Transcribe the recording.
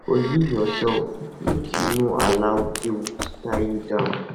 forgive urself mek yu no allow guilt tie you down